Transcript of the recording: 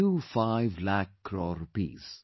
25 lakh crore rupees